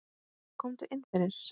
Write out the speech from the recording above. Komdu inn fyrir, sagði hann.